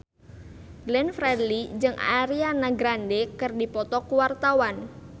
Glenn Fredly jeung Ariana Grande keur dipoto ku wartawan